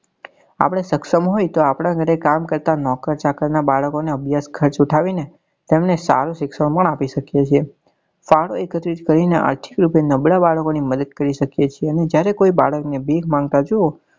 આપડે સક્ષમ હોય તો આપડા ઘરે કામ કરતા નોકર ચાકર ના બાળકો ને અભ્યાસ ખર્ચ ઉઠાવી ને તેમને સારું શિક્ષણ પણ આપી શકીએ છીએ ફાળો એકત્રિત કરી ને નબળા બાળક ની મદદ પણ કરી શકીએ છીએ અને જયારે કોઈ બાળક ની ભીખ માંગતા જોવો તો